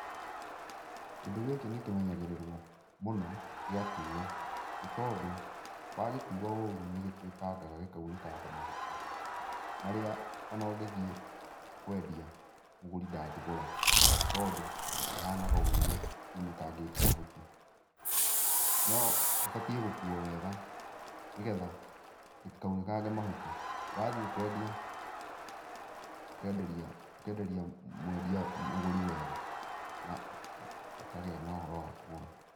Kĩndũ gĩkĩ nĩkĩmenyagĩrĩrwo mũno gĩatuo. Nĩ tondũ wagĩkua ũru nĩgĩtuĩkangaga gĩkaunĩkanga mahuti, marĩa ona ũngĩthiĩ kwendia mũgũri ndangĩgũra, nĩ tondũ kĩhanaga ũru kĩunĩkangĩte mahuti. No kĩbatiĩ gũkuo wega, nĩgetha gĩtikaunĩkange mahuti. Wathiĩ kwendia ũkenderia ũkenderia mwendia mũgũri wega, na akagĩa na ũhoro wa kũgũra.